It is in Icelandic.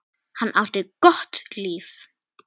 Hann átti gott líf.